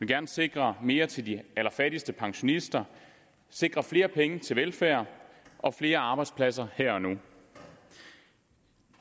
gerne sikre mere til de allerfattigste pensionister sikre flere penge til velfærd og flere arbejdspladser her og nu